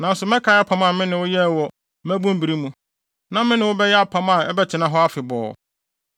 Nanso mɛkae apam a me ne wo yɛɛ wo mmabun bere mu, na me ne wo bɛyɛ apam a ɛbɛtena hɔ afebɔɔ.